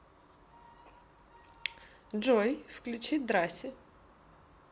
джой включи драси